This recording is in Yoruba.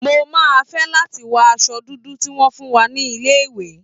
Mo máa fẹ́ láti wọ aṣọ dúdú tí wọ́n fún wa ní ilé-ìwé.